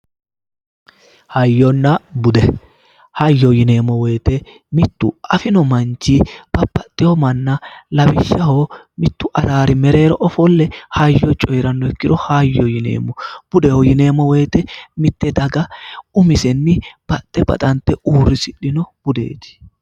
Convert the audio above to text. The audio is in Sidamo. hayyonna bude hayyo yineemmowoyite mittu afino manchi babbaxxino manna lawishshaho mittu araari mereero ofolle hayyo coyiranno ikkiro hayyo yineemmo budeho yinemowoyite mitte daga umise baxxe baxante uurrisidhino budeeti.